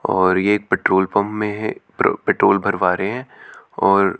और ये एक पेट्रोल पंप में है प पेट्रोल भरवा रहे हैं और--